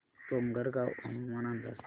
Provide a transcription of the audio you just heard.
डोंगरगाव हवामान अंदाज